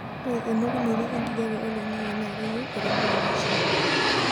ore emokunoto o enkijape oloingangi naa keyieu eremore naishaa